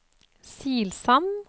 Silsand